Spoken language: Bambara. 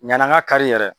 Ɲani an ka kari yɛrɛ